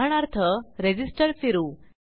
उदाहरणार्थ रेझिस्टर फिरवू